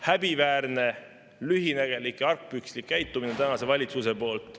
Häbiväärne, lühinägelik ja argpükslik käitumine tänase valitsuse poolt.